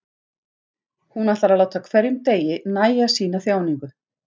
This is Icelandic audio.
Hún ætlar að láta hverjum degi nægja sína þjáningu.